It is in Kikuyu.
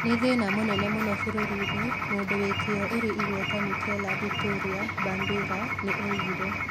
"Nĩ thĩna mũnene mũno bũrũri-inĩ," mũndũ wĩ kĩyo ũrĩ igweta Michela Vittoria Bambira nĩ oigire